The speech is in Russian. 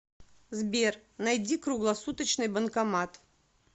сбер найди круглосуточный банкомат